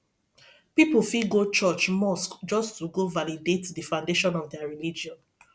pipo fit go church mosque just to go validate the foundation of their religion